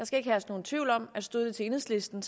skal herske nogen tvivl om at stod det til enhedslisten